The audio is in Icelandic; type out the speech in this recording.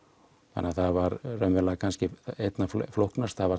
þannig það var raunverulega kannski einna flóknast það var